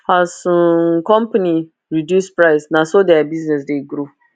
as um company reduce price naso thier business dey grow